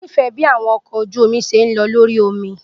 Mo nifẹ bi awọn ọkọ oju omi ṣe n lọ lori omi.